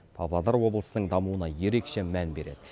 павлодар облысының дамуына ерекше мән береді